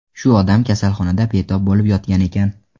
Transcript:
Shu odam kasalxonada betob bo‘lib yotgan ekan.